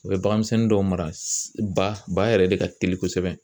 U bɛ bagan misɛnnin dɔw mara ba yɛrɛ de ka teli kosɛbɛ